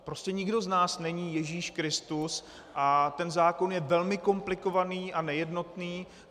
Prostě nikdo z nás není Ježíš Kristus a ten zákon je velmi komplikovaný a nejednotný.